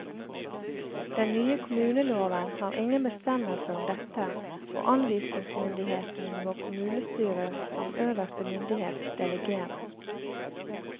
Den nye kommuneloven har ingen bestemmelser om dette, og anvisningsmyndigheten må kommunestyret som øverste myndighet delegere.